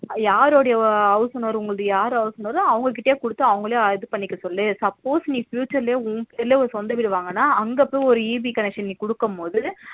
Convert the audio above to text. யாருடைய house owner உங்களது யார் house owner ஓ அவங்க கிட்டயே குடுத்து அவங்களையே இது பண்ணிக்க சொல்லு suppose நீ future ல உன் பேர்ல ஒரு சொந்த வீடு வாங்கறேன்னா அங்க போய் EB connection கொடுக்கும்போது